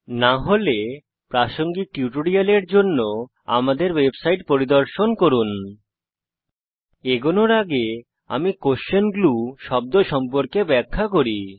না হলে প্রাসঙ্গিক টিউটোরিয়ালের জন্য আমাদের ওয়েবসাইট পরিদর্শন করুন httpspoken tutorialorg এগোনোর আগে আমি কোয়েসশন গ্লু শব্দ সম্পর্কে ব্যাখ্যা করি